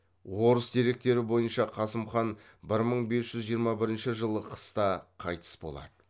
орыс деректері бойынша қасым хан бі мың бес жүз жиырма бірінші жылы қыста қайтыс болады